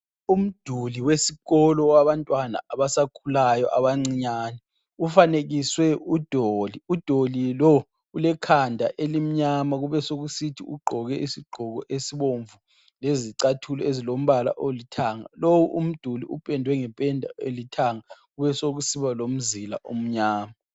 Umduli wesikolo wabantwana abasakhulayo abancinyane ufanekiswe udoli ,udoli lo ulekhanda elimnyama kube sekusithi ugqoke isigqoko esibomvu lezicathulo ezilombala olithanga ,lowu umduli upendwe ngependa elithanga kube sokusiba lomzila omnyama